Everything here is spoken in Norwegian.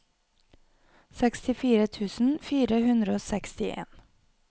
sekstifire tusen fire hundre og sekstien